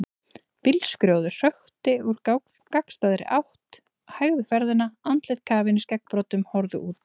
Bílskrjóður hökti úr gagnstæðri átt, hægði ferðina, andlit kafin í skeggbroddum horfðu út.